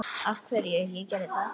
Af hverju ég gerði þetta.